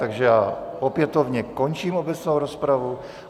Takže já opětovně končím obecnou rozpravu.